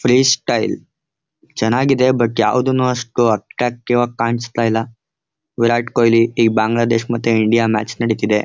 Free style ಚೆನ್ನಾಗಿದೆ but ಯಾವುದುನು ಅಷ್ಟು ಅಟ್ಟ್ರಾಕ್ಟಿವ್ ಆಗಿ ಕಾಣಿಸ್ತಿಲ್ಲ ವಿರಾಟ್ ಕೊಹ್ಲಿ ಈ ಬಾಂಗ್ಲಾದೇಶ್ ಮತ್ತು ಇಂಡಿಯಾ ಮ್ಯಾಚ್ ನಡೀತಿದೆ.